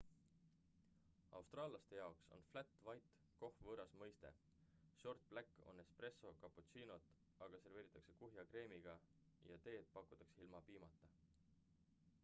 austraallaste jaoks on flat white” kohv võõras mõiste. short black” on espresso cappuccino't aga serveeritakse kuhja kreemiga mitte vahuga ja teed pakutakse ilma piimata